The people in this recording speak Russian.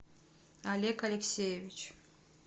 олег алексеевич